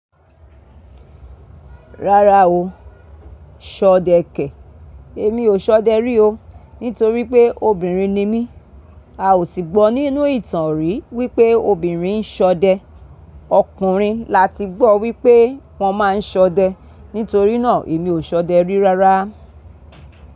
Rárá o, ṣọdẹ kẹ̀. Èmi ò ṣọdẹ rí o nítorí pé obìnrin ni mí. A ò sì gbọ́ nínú ìtàn rí wí pé obìnrin ń ṣọdẹ. Ọkùnrin la ti gbọ́ wí pé wón máa ń ṣọdẹ. Nítorí náà èmi ò ṣọdẹ rí rárá.